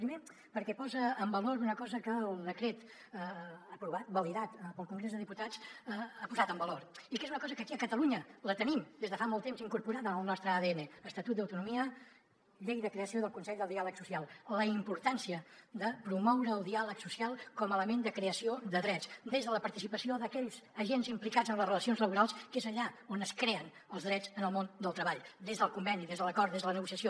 primer perquè posa en valor una cosa que el decret aprovat validat pel congrés dels diputats ha posat en valor i que és una cosa que aquí a catalunya la tenim des de fa molt de temps incorporada al nostre adn estatut d’autonomia llei de creació del consell del diàleg social la importància de promoure el diàleg social com a element de creació de drets des de la participació d’aquells agents implicats en les relacions laborals que és allà on es creen els drets en el món del treball des del conveni des de l’acord des de la negociació